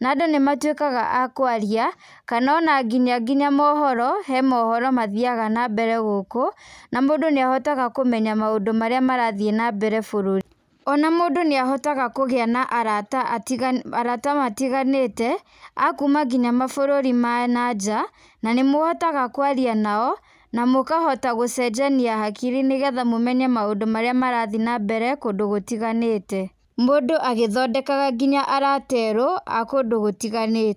na andũ nĩ matuĩkaga a kwaria, kana ona nginya nginya mohoro, he mohoro mathiaga na mbere gũkũ, na mũndũ nĩ ahotaga kũmenya maũndũ marĩa marathiĩ na mbere bũrũri. Ona mũndũ nĩ ahotaga kũgĩa na arata arata matiganĩte, a kuuma nginya mabũrũri ma na nja, na nĩ mũhũtaga kwaria nao, na mũkahota gũcenjania hakiri nĩ getha mũmenye maũndũ marathi na mbere kũndũ gũtiganĩte. Mũndũ agĩthondekaga nginya arata erũ a kũndũ gũtiganĩte.